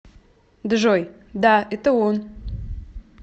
джой да это он